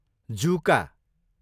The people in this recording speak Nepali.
जुका